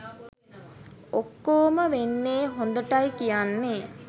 ඔක්කොම වෙන්නෙ හොඳටයි කියන්නෙ